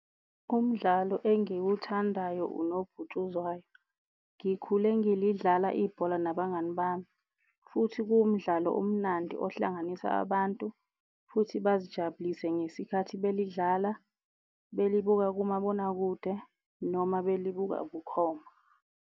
Umdlalo engiwuthandayo unobhutshuzwayo. Ngikhule ngilidlala ibhola nabangani bami, futhi kuwumdlalo omnandi ohlanganisa abantu futhi bazijabulise ngesikhathi belidlala, belibuka kumabonakude, noma belibuka bukhoma.